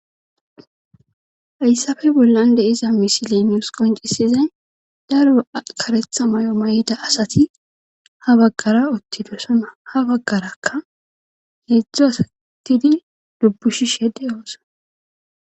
hayssafe bollan de iza misilenius qoncisizay daruro karetha may7o may7ida asati ha baggara ottidosona ha baggarakka heedzdzu asatidi dubbushishede oosa